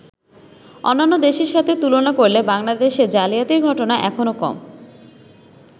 অন্যান্য দেশের সাথে তুলনা করলে বাংলাদেশে জালিয়াতির ঘটনা এখনো কম।